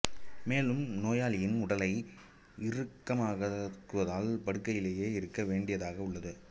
மேலும் நோயாளியின் உடலை இறுக்கமாக்குவதால் படுக்கையிலேயே இருக்க வேண்டியதாக உள்ளது